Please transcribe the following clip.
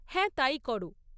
হ্যাঁ। তাই করো।